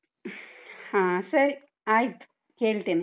ಹಾ, ಸರಿ ಆಯ್ತು. ಹೇಳ್ತೇನೆ.